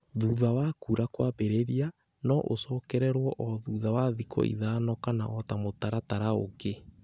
Thutha wa kuura kwambĩrĩria, no ũcokererũo o thutha wa thikũ ithano kana o ta mũtaratara ũngĩ.